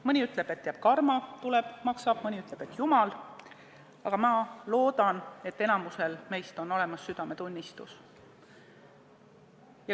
Mõni ütleb, et jääb karma, mõni ütleb, et küll jumal näeb, aga ma loodan, et enamikul meist on olemas südametunnistus.